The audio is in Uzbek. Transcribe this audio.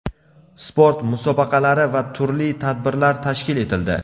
sport musobaqalari va turli tadbirlar tashkil etildi.